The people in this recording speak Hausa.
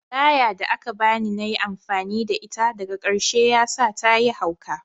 Laya da ka bani na yi amfani da ita, daga karshe ya sa ta yi hauka